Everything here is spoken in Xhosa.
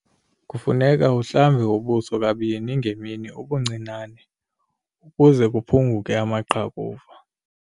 Kufuneka uhlambe ubuso kabini ngemini ubuncinane ukuze kuphunguke amaqhakuva.